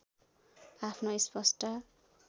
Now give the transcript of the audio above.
आफ्नो स्पष्ट